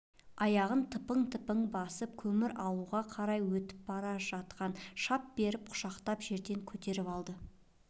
аяғын тыпың-тыпың басып көмір алуға қарай өтіп бара жатқа шап беріп құшақтап жерден көтеріп алды